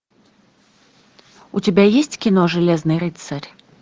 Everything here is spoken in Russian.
у тебя есть кино железный рыцарь